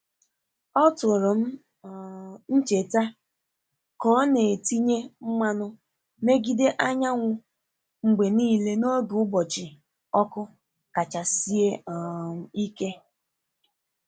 O tụrụ um ncheta ka ọ na-etinye mmanụ megide anyanwụ mgbe niile n’oge ụbọchị ọkụ kacha sie um ike.